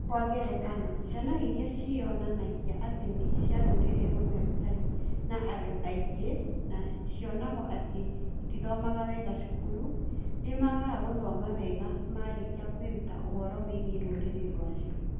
Kwa ngerekano, ciana iria ciĩyonanagia atĩ nĩ cia rũrĩrĩ rũmwe rũtarĩ na andũ aingĩ na cionagwo atĩ itithomaga wega cukuru, nĩmagaga gũthomaga wega marĩkia kwĩruta ũhoro wĩgiĩ rũrĩrĩ rwacio.